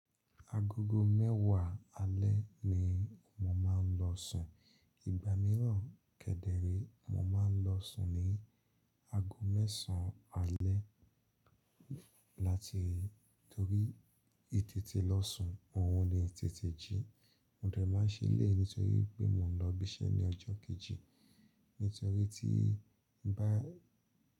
Agogo mẹ́wàá alẹ́ ni mo máa ń lọ sùn, ìgbà mìíràn kẹ́dẹ̀rẹ̀ mo máa ń lọ sùn ní ago mẹ́sàn alẹ́ láti torí itètè lọ sùn, òún ni itètè jí. Mo dẹ̀ máa se eleyi nítorí pé mo n lọ ibi iṣẹ́ ní ọjọ́ kejì. Nítorí tí bá.